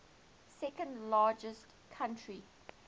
second largest country